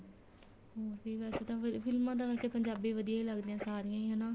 ਬੱਸ ਠੀਕ ਏ ਅੱਜ ਤਾਂ ਫੇਰ ਫ਼ਿਲਮਾ ਤਾਂ ਪੰਜਾਬੀ ਵਧੀਆ ਈ ਲੱਗਦੀਆਂ ਸਾਰੀਆਂ ਈ ਹਨਾ